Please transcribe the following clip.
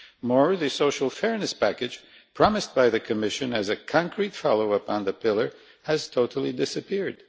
More, the social fairness package promised by the Commission as a concrete follow-up on the Pillar, has totally disappeared.